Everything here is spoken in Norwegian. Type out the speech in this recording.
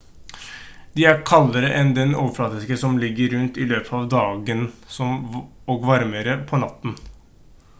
de er kaldere enn den overflaten som ligger rundt i løpet av dagen og varmere på natten